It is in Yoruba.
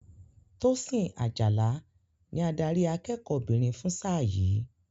Tosin Ajala ni adarí akẹ́kọ̀ọ́ obìnrin fún sáà yìí.